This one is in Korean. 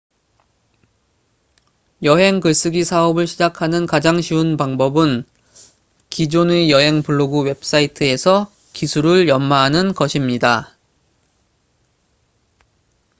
여행 글쓰기 사업을 시작하는 가장 쉬운 방법은 기존의 여행 블로그 웹사이트에서 기술을 연마하는 것입니다